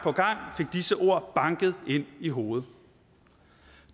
fik disse ord banket ind i hovedet